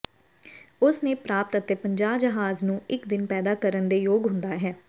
ਉਸ ਨੇ ਪ੍ਰਾਪਤ ਅਤੇ ਪੰਜਾਹ ਜਹਾਜ਼ ਨੂੰ ਇੱਕ ਦਿਨ ਪੈਦਾ ਕਰਨ ਦੇ ਯੋਗ ਹੁੰਦਾ ਹੈ